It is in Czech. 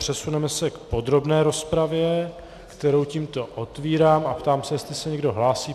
Přesuneme se k podrobné rozpravě, kterou tímto otvírám, a ptám se, jestli se někdo hlásí.